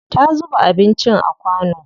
Ta zuba anincin a kwano.